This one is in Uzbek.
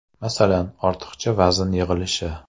Masalan, ortiqcha vazn yig‘ilishi.